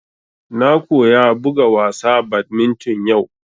Na koya buga wasa badminton yau